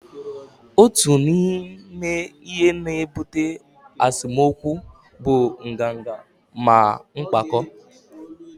otu n'ime ihe na-ebute esemokwu bụ nganga na mpako